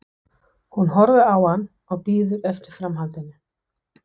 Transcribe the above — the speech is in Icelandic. Hún horfir á hann og bíður eftir framhaldinu.